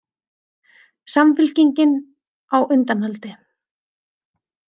Samfylkingin á undanhaldi